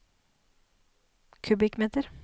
kubikkmeter